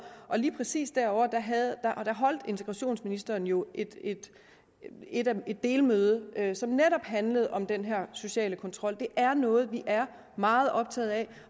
og lige præcis derovre holdt integrationsministeren jo et delmøde som netop handlede om den her sociale kontrol det er noget vi er meget optaget af